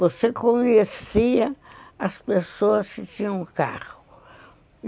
Você conhecia as pessoas que tinham carro.